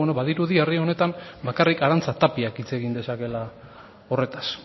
bueno badirudi herri honetan bakarrik arantza tapiak hitz egin dezakeela horretaz